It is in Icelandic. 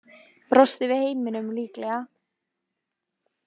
Brosti við heiminum, líklega.